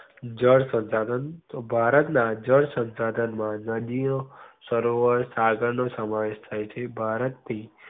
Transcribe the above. જળ શંશાધન ભારત ના જળ શંશાધન માં નદી ઓ સરોવર નો સમાવેશ થઇ છે. ભારત થી